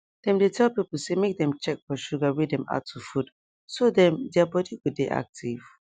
dem dey tell people say make dem check for sugar wey dem add to food so dem their body go de active